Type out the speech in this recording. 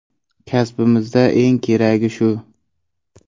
Kasbimizda eng keragi shu.